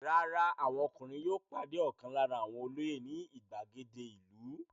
Rárá, àwọn ọkùnrin yóò pàdé ọ̀kan lára àwọn olóyè ní ìgbàgede ìlú.